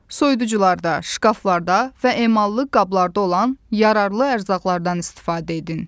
Soyuducularda, şkaflarda və emallı qablarda olan yararlı ərzaqlardan istifadə edin.